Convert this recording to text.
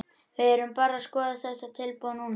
Við erum bara að skoða þetta tilboð núna.